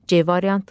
C variantı.